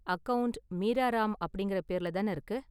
Account Meera Ram அப்படிங்கற பேர்ல தான இருக்கு?